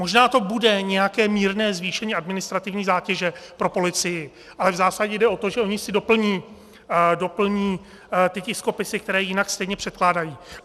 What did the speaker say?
Možná to bude nějaké mírné zvýšení administrativní zátěže pro policii, ale v zásadě jde o to, že oni si doplní ty tiskopisy, které jinak stejně předkládají.